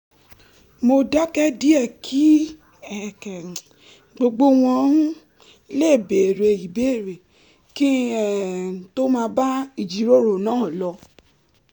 mo dákẹ́ díẹ̀ kí gbogbo wọn um lè béèrè ìbéèrè kí n um tó máa bá ìjíròrò náà lọ